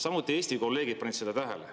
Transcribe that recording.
Samuti Eesti kolleegid panid seda tähele.